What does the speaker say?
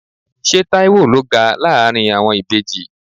Ṣé Taiwo ló ga láàárín àwọn ìbejì?